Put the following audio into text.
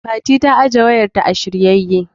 Fati ta ajiye wayar ta a shiryayye.